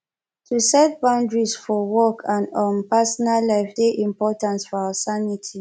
to set boundaries for work and um personal life dey important for our sanity